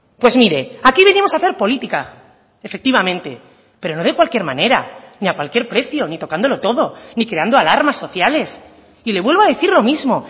pues mire aquí venimos a hacer política efectivamente pero no de cualquier manera ni a cualquier precio ni tocándolo todo ni creando alarmas sociales y le vuelvo a decir lo mismo